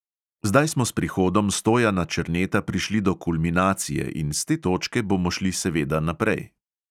Zdaj smo s prihodom stojana černeta prišli do kulminacije in s te točke bomo šli seveda naprej.